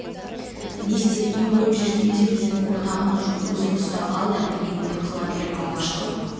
не істеп не қойып жүргенінде біздің ортағымыз жоқ өзің ұстап ал да білгеніңді қыла бер алғашқы